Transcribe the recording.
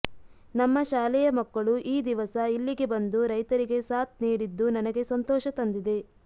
ನಮ್ಮ ಶಾಲೆಯ ಮಕ್ಕಳು ಈ ದಿವಸ ಇಲ್ಲಿಗೆ ಬಂದು ರೈತರಿಗೆ ಸಾಥ್ ನೀಡಿದ್ದು ನನಗೆ ಸಂತೋಷ ತಂದಿದೆ